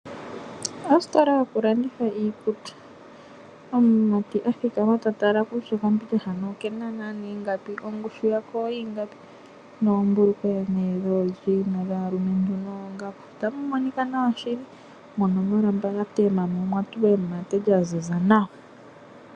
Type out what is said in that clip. Ositola yoku landitha iikutu omumati a thikama ta tala kutya okambindja hano okena ingapi ongushu yako oyi ingapi noombulukweya dhoojena dhalumentu noongaku. Otapu monika nawa shili mono muna oolamba dhatema nemate lya ziza nawa.